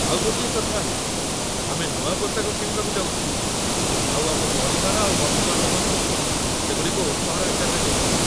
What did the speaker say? ଆଉ ଗୋଟିଏ କଥା ହେଲା ଆମେ ନୂଆ ପୋଷାକ କିଣିବାକୁ ଯାଉଥିଲୁ ଆଉ ଆମ ପରିବାର ଆଉ ବନ୍ଧୁବାନ୍ଧବଙ୍କୁ ସେଗୁଡ଼ିକ ଉପହାର ଆକାରରେ ଦେଉଥିଲୁ ।